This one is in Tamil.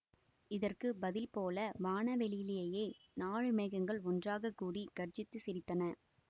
இதற்கு பதில் போல வானவெளியிலே நாலு மேகங்கள் ஒன்றாகக்கூடி கர்ஜித்துச் சிரித்தன